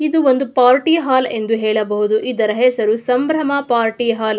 ಇದು ಒಂದು party hall ಎಂದು ಹೇಳಬಹುದು ಇದರ ಹೆಸರು ಸಂಭ್ರಮ ಪಾರ್ಟಿ ಹಾಲ್ .